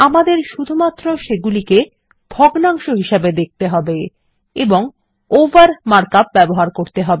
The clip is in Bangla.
আমাদের শুধুমাত্র সেগুলিকে ভগ্নাংশ হিসাবে দেখতে হবে এবং ওভার মার্ক আপ ব্যবহার করতে হবে